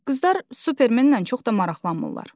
Qızlar Supermenlə çox da maraqlanmırlar.